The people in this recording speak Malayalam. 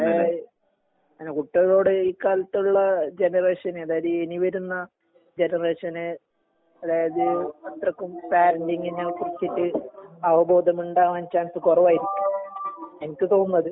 ഏയ് കുട്ടികളോട് ഈ കാലത്തുള്ള ജനറേഷൻ അതായത് ഇനി വരുന്ന ജനറേഷന് അതായത് ഇത്രക്കും പാരന്റിങിനെ കുറിച്ചിട്ട് അവബോധമുണ്ടാവാൻ ചാൻസ് കുറവായിരിക്കും എനിക്ക് തോന്നുന്നത്.